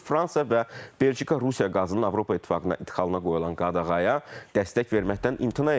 Fransa və Belçika Rusiya qazının Avropa İttifaqına idxalına qoyulan qadağaya dəstək verməkdən imtina edirlər.